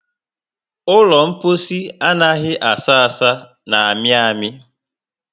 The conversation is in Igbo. Ụlọ mposi anaghị asa asa na amị amị